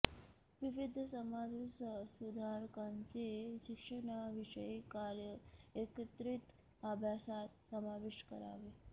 विविध समाजसुधारकांचे शिक्षणविषयक कार्य एकत्रित अभ्यासात समाविष्ट करावे